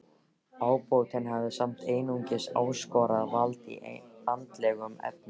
Ábótinn hafði samt einungis óskorað vald í andlegum efnum.